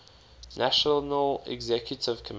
national executive committee